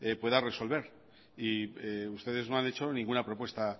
pueda resolver y ustedes no han hecho ninguna propuesta